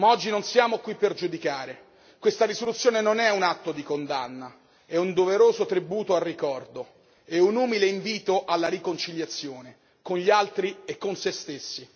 Ma oggi non siamo qui per giudicare, questa risoluzione non è un atto di condanna, è un doveroso tributo al ricordo e un umile invito alla riconciliazione con gli altri e con se stessi.